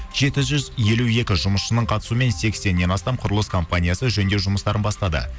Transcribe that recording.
жеті жүз елу екі жұмысшының қатысуымен сексеннен астам құрылыс компаниясы жөндеу жұмыстарын бастады